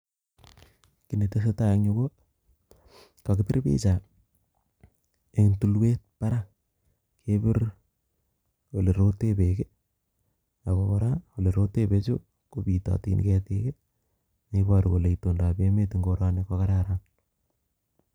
Kiit netesetai en yuu ko kokipir picha en tulwet barak, kebir oleroten beek ak ko kora olerote bechu ko bitotin ketik neiboru kolee itondab emet en koroni ko kararan.